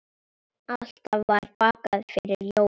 Alltaf var bakað fyrir jólin.